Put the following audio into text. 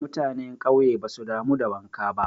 Mutane ƙauye basu damu da wanka ba.